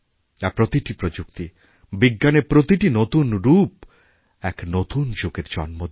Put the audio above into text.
আর প্রতিটি প্রযুক্তি বিজ্ঞানের প্রতিটি নতুন রূপ এক নতুন যুগেরজন্ম দেয়